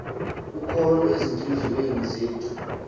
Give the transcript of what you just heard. ukholo ezintliziyweni zethu